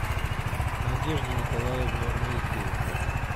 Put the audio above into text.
надежде николаевне моисеенко